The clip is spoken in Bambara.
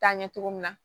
Taa ɲɛ cogo min na